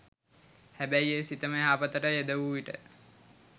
හැබැයි ඒ සිතම යහපතට යෙද වූ විට